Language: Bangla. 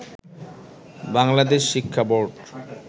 বাংলাদেশ শিক্ষা বোর্ড